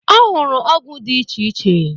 Ọ hụrụ ọgwụ dị iche iche.